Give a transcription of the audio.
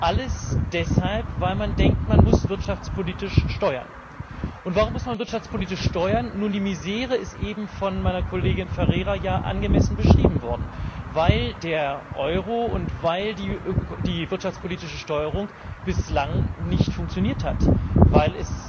Alles deshalb, weil man denkt, man muss wirtschaftspolitisch steuern. Und warum muss man wirtschaftspolitisch steuern? Nun, die Misere ist ja eben von meiner Kollegin Ferreira angemessen beschrieben worden weil der Euro und weil die wirtschaftspolitische Steuerung bislang nicht funktioniert hat,